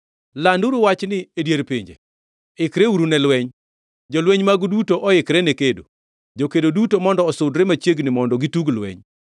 Landuru wachni e dier pinje, Ikreuru ne lweny! Jolweny magu duto oikre ne kedo! Jokedo duto mondo osudre machiegni mondo gitug lweny.